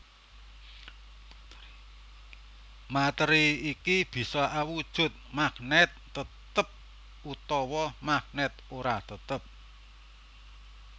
Matéri iki bisa awujud magnèt tetep utawa magnèt ora tetep